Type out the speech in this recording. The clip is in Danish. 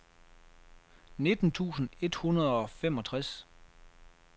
nitten tusind et hundrede og femogtres